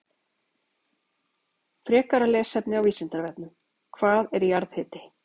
Frekara lesefni á Vísindavefnum: Hvað er jarðhiti?